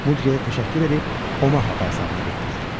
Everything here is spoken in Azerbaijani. Mudqeyə təşəkkür edib Omaha bazarına getdilər.